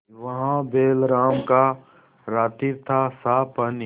वहाँ बैलराम का रातिब थासाफ पानी